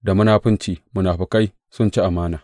Da munafunci munafukai sun ci amana!